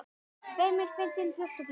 Feimin, fyndin, björt og blíð.